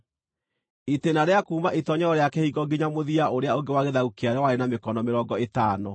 Itĩĩna rĩa kuuma itoonyero rĩa kĩhingo nginya mũthia ũrĩa ũngĩ wa gĩthaku kĩarĩo warĩ wa mĩkono mĩrongo ĩtano.